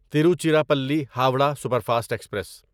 Tiruchirappalli Howrah superfast express